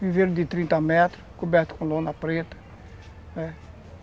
Viveiro de trinta metros, coberto com lona preta.